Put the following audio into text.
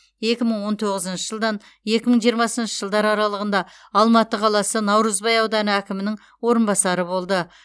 екі мың он тоғызыншы жылдан екі мың жиырмасыншы жылдар аралығында алматы қаласы наурызбай ауданы әкімінің орынбасары болды